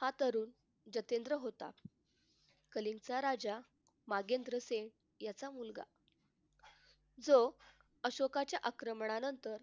हा तरुण जितेंद्र होता. कलेचा राजा नरेंद्र सिंग याचा मुलगा जो अशोकाच्या आक्रमणानंतर